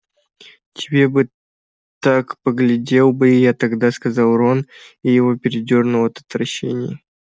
тебе бы так поглядел бы я тогда сказал рон и его передёрнуло от отвращения